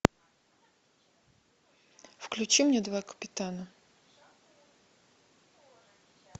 включи мне два капитана